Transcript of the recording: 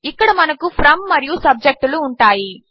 ఇక్కడ మనకు ఫ్రోమ్ మరియు సబ్జెక్ట్ లు ఉంటాయి